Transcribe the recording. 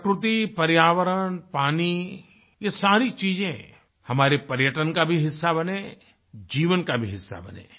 प्रकृति पर्यावरण पानी ये सारी चीजें हमारे पर्यटन का भी हिस्सा बनें जीवन का भी हिस्सा बनें